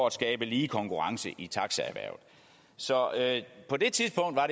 at skabe lige konkurrence i taxaerhvervet så på det tidspunkt var